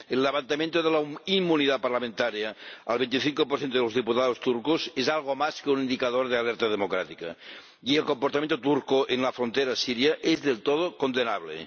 El levantamiento de la inmunidad parlamentaria al 25 de los diputados turcos es algo más que un indicador de alerta democrática y el comportamiento turco en la frontera siria es del todo condenable.